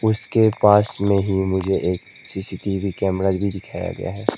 इसके पास में ही मुझे एक C C T V camera भी दिखाया गया है।